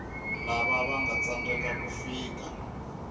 lava vanga tsandzeka ku fika